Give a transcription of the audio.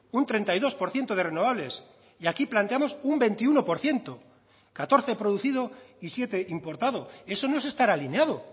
un treinta y dos por ciento de renovables y aquí planteamos un veintiuno por ciento catorce producido y siete importado eso no es estar alineado